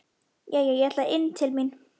Jæja, ég ætla inn til mín.